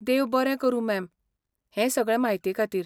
देव बरें करूं, मॅम, हें सगळे म्हायतेखातीर.